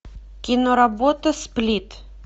киноработа сплит